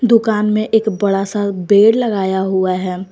दुकान में एक बड़ा सा बेड़ लगाया हुआ है।